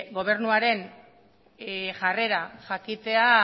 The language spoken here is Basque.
gobernuaren jarrera jakitea